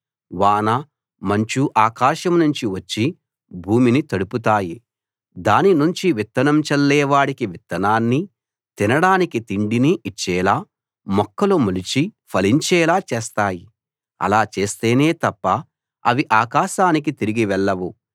వాన మంచు ఆకాశాన్నుంచి వచ్చి భూమిని తడుపుతాయి దానినుంచి విత్తనం చల్లే వాడికి విత్తనాన్నీ తినడానికి తిండినీ ఇచ్చేలా మొక్కలు మొలిచి ఫలించేలా చేస్తాయి అలా చేస్తేనే తప్ప అవి ఆకాశానికి తిరిగి వెళ్ళవు